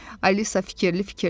Alisa fikirli-fikirli dedi.